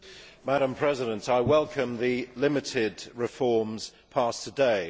Madam President, I welcome the limited reforms passed today.